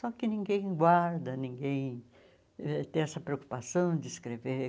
Só que ninguém guarda, ninguém ãh tem essa preocupação de escrever.